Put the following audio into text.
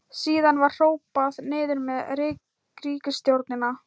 Síðan var hrópað: Niður með ríkisstjórnina!